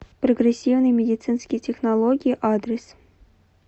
прогрессивные медицинские технологии адрес